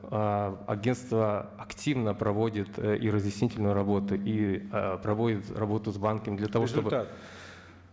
ыыы агенство активно проводит ы и разъяснительную работу и ы проводит работу с банками для того